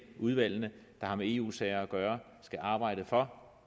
udvalgene der har med eu sager at gøre skal arbejde for